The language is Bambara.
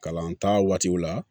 Kalan ta waatiw la